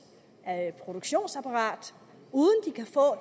produktionsapparat